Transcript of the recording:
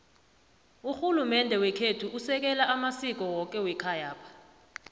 rhulumende wekhethu usekela amasiko woke wekhayapha